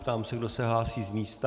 Ptám se, kdo se hlásí z místa.